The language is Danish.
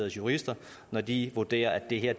jurister når de vurderer at det her